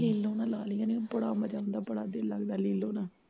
ਲੀਲੋਂ ਨਾਲ਼ ਲਾ ਲਵੀ ਨਿ ਬੜਾ ਮਜ਼ਾ ਆਉਂਦਾ ਬੜਾ ਦਿਲ ਲਗਦਾ ਲੀਲੋਂ ਨਾਲ਼